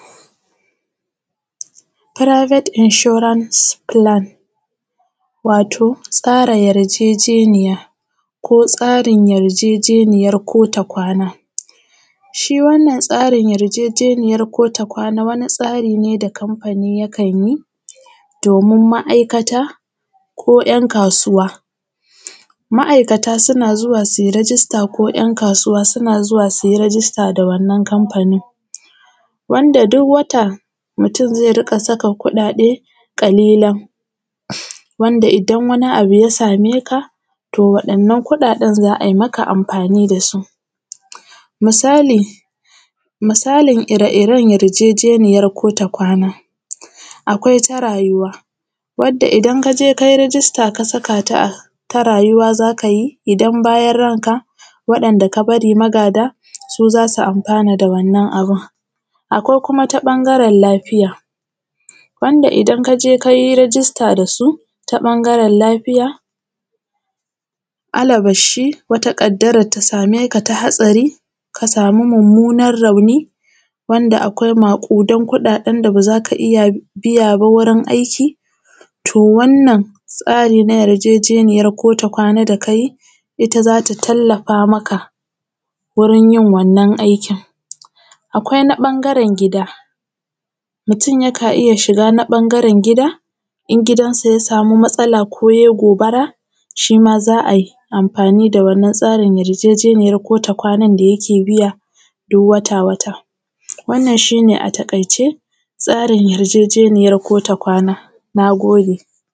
Firaibet inshoran filan wato tsara yarjejeniya ko tsarin yarjejeniyan kotakwana, shi wannan tsarin yarjejeniyan kotakwana wani tsari ne da kanfani takan yi domin ma’aikata ko ‘yan kasuwa, ma’aikata suna zuwa su yi rijista ko ‘yan kasuwa suna zuwa su yi rijista da wannan kanfanin wanda duk wata mutum zai riƙa sa kuɗaɗe ƙalilan wanda idan wani abu ya same ka to waɗannan kuɗanen za a yi maka amfani da su misali-misalin ire-iren yarjejeniyan kotakwana. akwai ta rayuwa wadda idan ka je ka yi rijista ka saka ta rayuwa za ka yi idan bayan ranka waɗanda ka bari magada su za su amfana da wannan abun, akwai kuma ta ɓangaren lafiya wanda idan ka je ka yi rijista da su ta ɓangaren lafiya alabar shi ƙaddarar ta same ka ta hatsari ka samu mummunan rauni wanda akwai maƙudan kuɗaɗen da ba za ka iya biya ba, wurin aiki to wannan tsarin na yarjejeniyan kotakwana da ka yi ita za ta tallafa maka wurin yin wannan aikin. Akwai na ɓangaren gida, mutum yakan iya shiga na ɓangaren gida in gidan sa ya samu matsala ko ya yi gobara shi ma za a yi tsarin wannan yarjejeniyan kotakwanan da yake biya duk wata-wata. Wannan shi ne a taƙaice tsarin yarjejeniyan kotakwana. Na gode.